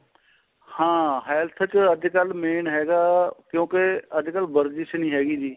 ਹਾਂ health ਚ ਅੱਜਕਲ main ਹੈਗਾ ਕਿਉਂਕਿ ਅੱਜਕਲ ਵਰਜਿਸ਼ ਨੀ ਹੈਗੀ ਜੀ